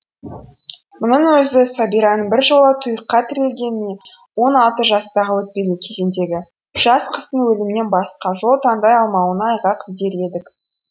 мұның өзі сәбираның біржола тұйыққа тірелгеніне он алты жастағы өтпелі кезеңдегі жас қыздың өлімнен басқа жол таңдай алмауына айғақ дер едік